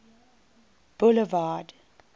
boulevard